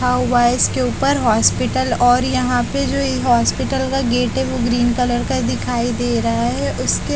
लिखा हुआ है। इसके के ऊपर अस्पताल और यहां पर जो एक हॉस्पिटल का गेट है वह ग्रीन कलर का दिखाई दे रहा है उसके --